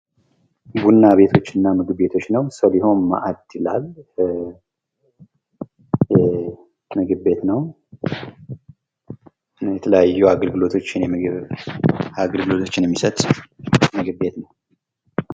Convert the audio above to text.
ሰሊሆም ማእድ የሚል በናና ምግብ ቤት ሲሆን የተለያዩ የምግብ አገልግሎቶችን ይሰጣል ።